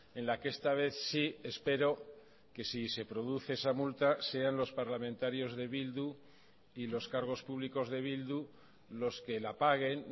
en la que esta vez sí espero que si se produce esa multa sean los parlamentarios de bildu y los cargos públicos de bildu los que la paguen